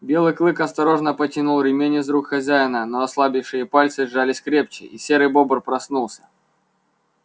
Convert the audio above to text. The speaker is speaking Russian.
белый клык осторожно потянул ремень из рук хозяина но ослабевшие пальцы сжались крепче и серый бобр проснулся